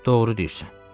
Doğru deyirsən.